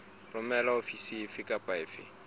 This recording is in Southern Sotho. romelwa ofising efe kapa efe